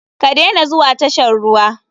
Ka dena zuwa tashan ruwa.